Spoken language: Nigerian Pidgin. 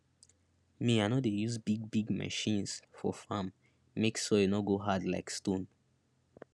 me i no dey use bigbig machines for farm make soil no go hard like stone